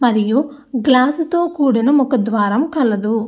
మరియు గ్లాస్ తో కూడిన ముఖ ద్వారం కలదు.